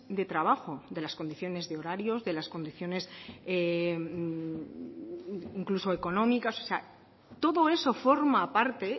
de trabajo de las condiciones de horarios de las condiciones incluso económicas o sea todo eso forma parte